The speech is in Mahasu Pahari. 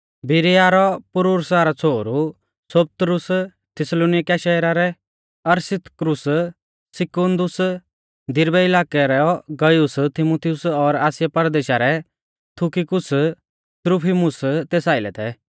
बिरीया रौ पुरूर्सा रौ छ़ोहरु सोपत्रुस थिस्सलुनीकिया शहरा रै अरिस्तर्खुस सिकुनदुस दिरबै इलाकै रौ गयुस तीमुथियुस और आसिया परदेशा रै तुखिकुस त्रुफिमुस तेस आइलै थै